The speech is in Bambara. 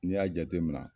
N'i y'a jateminɛ